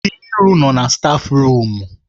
Nkiru nọ na stáfruum.